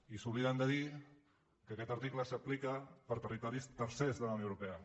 i s’obliden de dir que aquest article s’aplica per a territoris tercers de la unió europea